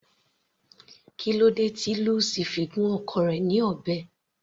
Kílódé tí Lucy fi gún ọkọ rẹ̀ ní ọ̀bẹ.